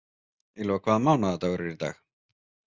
Ylva, hvaða mánaðardagur er í dag?